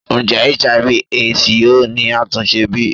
Njẹ Hiv/Aids yoo ni atunse bi?